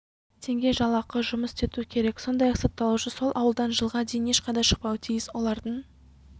теңге жалақыға жұмыс істету керек сондай-ақ сотталушы сол ауылдан жылға дейін ешқайда шықпауы тиіс олардың